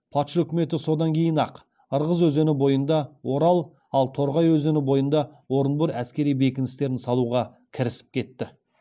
патша үкіметі содан кейін ақ ырғыз өзені бойында орал ал торғай өзені бойында орынбор әскери бекіністерін салуға кірісіп кетті